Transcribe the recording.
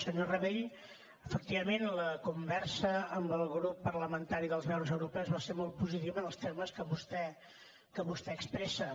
senyor rabell efectivament la conversa amb el grup parlamentari dels verds europeus va ser molt positiva en els termes que vostè expressa